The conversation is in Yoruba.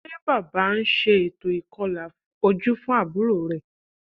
Ṣé Bàbá ń ṣe ètò ìkọlà ojú fún àbúrò rẹ̀?